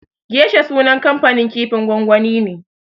Geisha sunan kamfanin kifin gwangwani ne.